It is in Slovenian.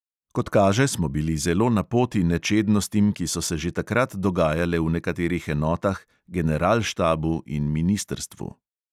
Kot kaže, smo bili zelo napoti nečednostim, ki so se že takrat dogajale v nekaterih enotah, generalštabu in ministrstvu.